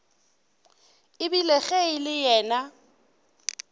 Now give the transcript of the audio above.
ebile ge e le yena